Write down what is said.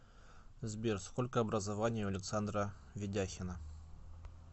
сбер сколько образований у александра ведяхина